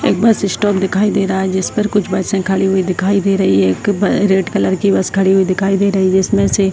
एक bus stop दिखाई दे रहा है जिस पर कुछ बसे खड़ी हुई दिखाई दे रही है एक ब रेड कलर की बस दिखाई दे रही है जिसमे से --